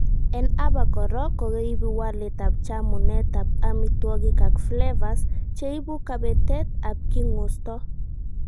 en aba goraa ko ko ibu walet ab chamunet ab amitwogik ak flavours che ibu kabetet ab king'usto